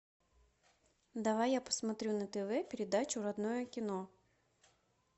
давай я посмотрю на тв передачу родное кино